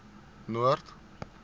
noord